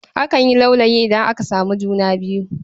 Akan yi laulayi idan aka samu juna biyu..